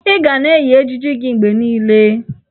Ị ga na-eyi ejiji gị mgbe niile!